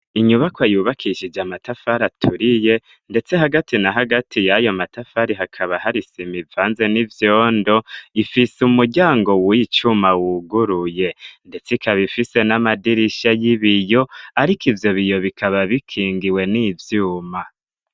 Inyubakwa yubakishije matafari aturiye ,ndetse hagati na hagati yayo matafari hakaba hari isima ivanze n'ivyondo ,ifise umuryango w'icuma wuguruye ,ndetse ikaba ifise n'amadirisha y'ibiyo ariko ivyo biyo bikaba bikingiwe n'ivyuma.